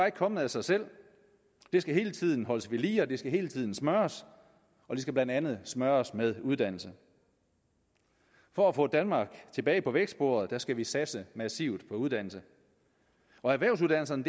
ikke kommet af sig selv det skal hele tiden holdes ved lige det skal hele tiden smøres og det skal blandt andet smøres med uddannelse for at få danmark tilbage på vækstsporet skal vi satse massivt på uddannelse erhvervsuddannelserne